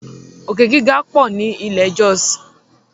Òkè-gíga pọ ní ile Jos.